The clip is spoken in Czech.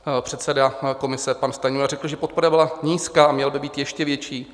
Předseda komise pan Stanjura řekl, že podpora byla nízká a měla by být ještě větší.